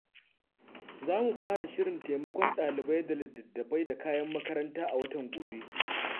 Za mu fara shirin taimakon dalibai da littattafai da kayan makaranta a watan gobe.